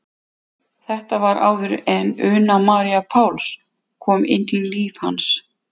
Þetta var áður en Una María Páls kom inn í líf hans.